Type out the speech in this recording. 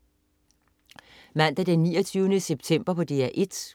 Mandag den 29. september - DR 1: